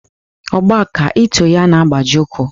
Ọgba ka e too ya na-agbaji úkwú.